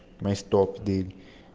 мы с топ модель